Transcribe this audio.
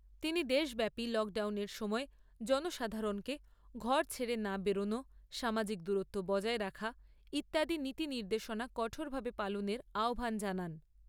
তিনি দেশব্যাপী লকডাউনের সময় জনসাধারণকে ঘর ছেড়ে না বেরোনো, সামাজিক দূরত্ব বজায় রাখা ইত্যাদি নীতি নির্দেশনা কঠোরভাবে পালনের আহ্বান জানান।